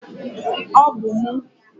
Ọ bụ m.